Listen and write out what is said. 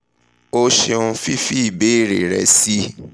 o ṣeun fifi ibeere rẹ si